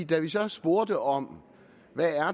da vi så spurgte om hvad